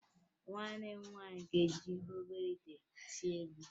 Nwanne m nwaanyị ga-eji obere ite sie nri